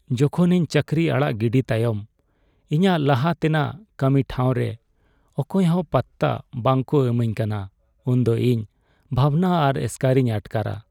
ᱡᱚᱠᱷᱚᱱ ᱤᱧ ᱪᱟᱹᱠᱨᱤ ᱟᱲᱟᱜ ᱜᱤᱰᱤ ᱛᱟᱭᱚᱢ ᱤᱧᱟᱹᱜ ᱞᱟᱦᱟ ᱛᱮᱱᱟᱜ ᱠᱟᱹᱢᱤ ᱴᱷᱟᱣᱨᱮ ᱚᱠᱚᱭᱦᱚᱸ ᱯᱟᱛᱛᱟ ᱵᱟᱝᱠᱚ ᱤᱢᱟᱹᱧ ᱠᱟᱱᱟ ᱩᱱᱫᱚ ᱤᱧ ᱵᱷᱟᱵᱽᱱᱟ ᱟᱨ ᱮᱥᱠᱟᱨᱤᱧ ᱟᱴᱠᱟᱨᱟ ᱾